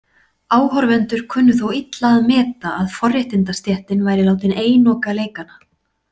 Áhorfendur kunnu þó illa að meta að forréttindastéttin væri látin einoka leikana.